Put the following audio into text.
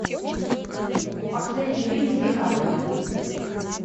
последний фильм с ди каприо